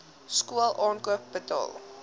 skool aankoop betaal